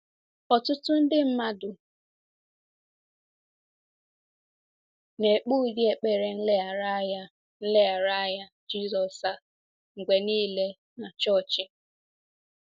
Ọtụtụ nde mmadụ na-ekpe ụdị ekpere nlereanya nlereanya Jizọs a mgbe nile na chọọchị.